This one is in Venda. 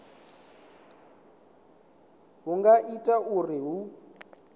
hu nga ita uri hu